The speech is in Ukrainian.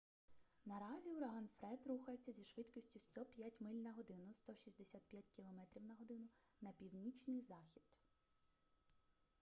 наразі ураган фред рухається зі швидкістю 105 миль на годину 165 км/год на північний захід